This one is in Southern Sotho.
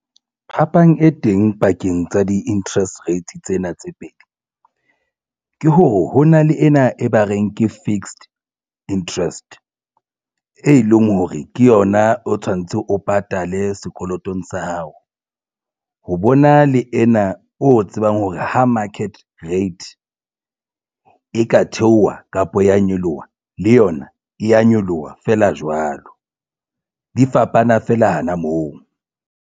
Phapang e teng pakeng tsa di-interest rates tsena tse pedi ke hore ho na le ena e ba reng ke fixed interest e leng hore ke yona o tshwanetse o patale sekolotong sa hao ho bona le ena o tsebang hore ha market rate e ka theoha kapa ya nyoloha le yona e ya nyoloha feela jwalo di fapana feela hana moo.